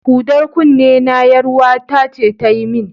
Hudar kunnena, ƴaruwata ce ta yi min.